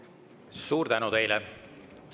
Suur tänu teile!